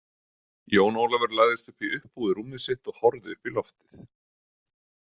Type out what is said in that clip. Jón Ólafur lagðist upp í uppbúið rúmið sitt og horfði upp í loftið.